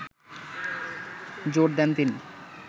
জোর দেন তিন